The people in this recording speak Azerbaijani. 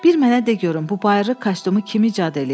Bir mənə de görüm bu bayırı kostyumu kim icad eləyib?